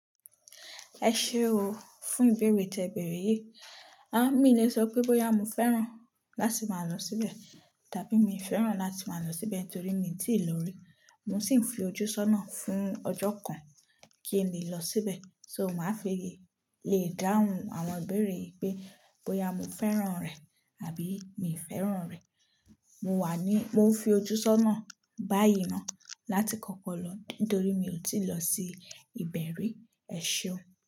Ẹ ṣe o, fún ìbéèrè tí ẹ bèèrè yìí, a mi le sọ pé bóyá mo fẹ́ràn láti máa lọ síbẹ̀ tàbí mi fẹ́ràn láti máa lọ síbẹ̀ torí mi i tíì lọ rí. Mo sì ń fi ojú sọ́nà fún ọjọ́ kan kí n lè lọ síbẹ̀. So máa fi lè dáhùn àwọn ìbéèrè yìí pé bóyá mo fẹ́ràn rẹ̀ àbí mi fẹ́ràn rẹ̀. Mo wà ní, lo ń fi ojú sọ́nà báyìí náà láti kọ́kọ́ lọ nítorí mi ò tíì lọ sí ìbẹ̀ ri. Ẹ ṣe o.